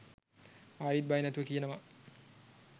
ආයිත් බය නැතුව කියනවා